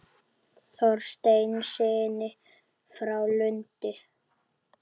Þorsteinssyni frá Lundi.